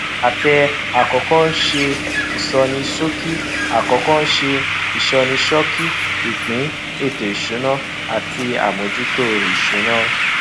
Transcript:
àtẹ àkọkọ ṣe ìsọníṣókí àkọkọ ṣe ìsọníṣókí ìpín ètò ìsúná àti àmójútó ìsúná